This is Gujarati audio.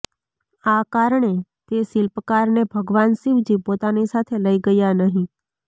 આ કારણે તે શિલ્પકારને ભગવાન શિવજી પોતાની સાથે લઇ ગયા નહીં